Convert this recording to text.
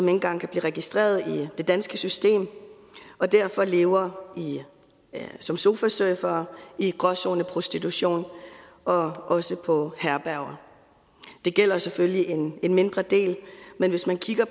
engang kan blive registreret i det danske system og derfor lever som sofasurfere i gråzoneprostitution og også på herberger det gælder selvfølgelig en mindre del men hvis man kigger